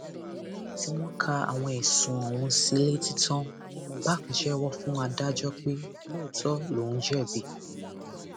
lẹyìn tí wọn ka àwọn ẹsùn ọhún sí i létí tán ní mubak jẹwọ fún adájọ pé lóòótọ lòún jẹbi